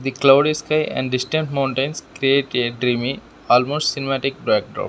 cloudy sky and distant mountains create a dreamy almost cinematic brackdrop .